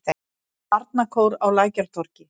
Barnakór á Lækjartorgi.